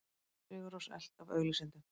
Sigur Rós elt af auglýsendum